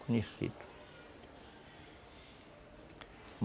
Conhecido.